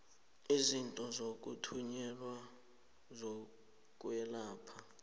izinto zokuthunyelwa zokwelapha